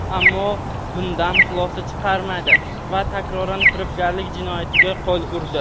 Ammo u bundan xulosa chiqarmadi va takroran firibgarlik jinoyatiga qo‘l urdi.